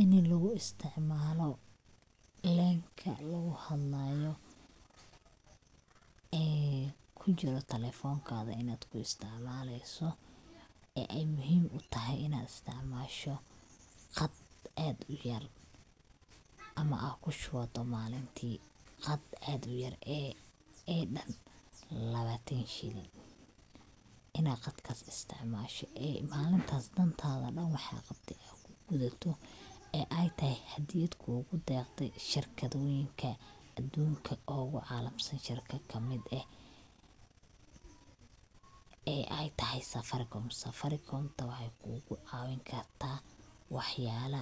Ini lugu isticmaalo lenka lugu hadlaayo, ee kujiro talefonkaga inad ku isticmaaleyso ee ay muhim utahay inad isticmaasho qad ad uyar ama aa kushubato malintii qad aad uyar ee dhan labatan shilin, inad qatkas isticmaasho ee malintaas dhan waxad qabte waxad kugudato ee ay tahay hadiyad kugu dheqday shirkadooyinka adunka ogu caalamsan shirkad kamid eh, ee ay tahay safaricom, safarikomta waxay kugu caawini karta wax yala